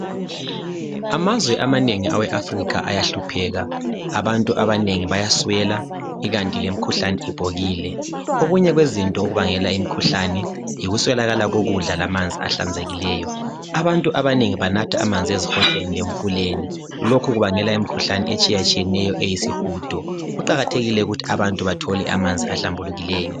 Amazwe amanengi aweAfrica ayahlupheka, abantu abanengi bayaswela. Ikanti lemikhuhlane ibhokile, okunye kwezinto okubangela imikhuhlane yikuswelakala kokudla lamanzi ahlanzekileyo. Abantu abanengi banatha amanzi ezihotsheni lemifuleni. Lokhu kubangela imikhuhlane etshiyatshiyeneyo eyisihudo. Kuqakathekile ukuthi abantu bathole amanzi ahlambulukileyo.